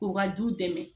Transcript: K'u ka du dɛmɛ